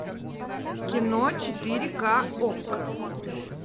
кино четыре ка окко